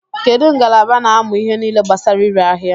Kedu ngalaba na-amụ ihe nile gbasara ire aḥia?